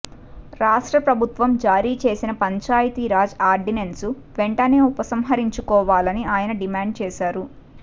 రాష్ట్రప్రభుత్వం జారీ చేసిన పంచాయతీరాజ్ ఆర్డినెన్స్ను వెంటనే ఉపసంహరించుకోవాలని ఆయన డిమాండ్ చేశారు